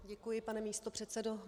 Děkuji, pane místopředsedo.